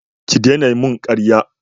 Ki dena mun karya!